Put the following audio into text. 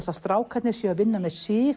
að strákarnir séu að vinna með sig